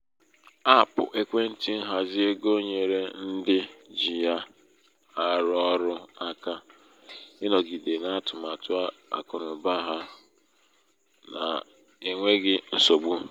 apụ ekwentị nhazi égo nyeere ndị ji ya arụ ọrụ aka um ịnọgide n'atụmatụ akụnaụba ha akụnaụba ha n'enweghị um nsogbu.